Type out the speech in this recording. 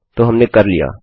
तो हमने कर लिया